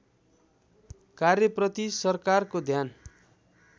कार्यप्रति सरकारको ध्यान